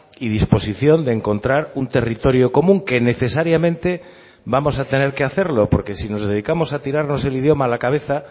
y disposición de encontrar un territorio común que necesariamente vamos a tener que hacerlo porque si nos dedicamos a tirarnos el idioma a la cabeza